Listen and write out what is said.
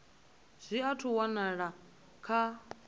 zwi athu u walwa kha